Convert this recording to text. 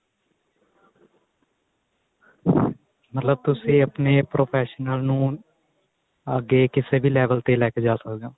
ਮਤਲਬ ਤੁਸੀਂ ਆਪਣੇ professional ਨੂੰ ਅੱਗੇ ਕਿਸੇ ਵੀ level ਤੇ ਲੈ ਕੇ ਜਾ ਸਕਦੇ ਓ